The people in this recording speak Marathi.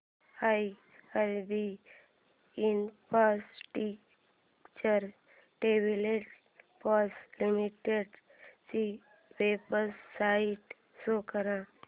आयआरबी इन्फ्रास्ट्रक्चर डेव्हलपर्स लिमिटेड ची वेबसाइट शो करा